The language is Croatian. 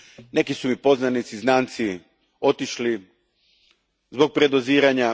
Neki su mi poznanici, znanci otišli zbog predoziranja.